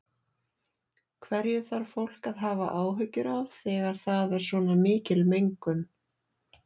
Hverju þarf fólk að hafa áhyggjur af þegar það er svona mikil mengun?